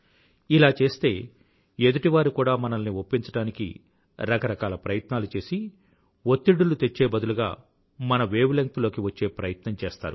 ఇలా చేస్తే ఎదుటివారు కూడా మనల్ని ఒప్పించడానికి రకరకాల ప్రయత్నాలు చేసి ఒత్తిడులు తెచ్చే బదులుగా మన వేవ్ లెంగ్త్ లోకి వచ్చే ప్రయత్నం చేస్తారు